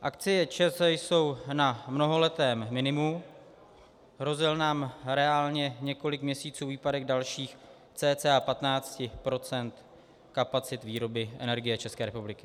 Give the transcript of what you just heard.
Akcie ČEZ jsou na mnohaletém minimu, hrozil nám reálně několik měsíců výpadek dalších cca 15 % kapacit výroby energie České republiky.